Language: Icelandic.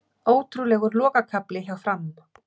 Ótrúlegur lokakafli hjá Fram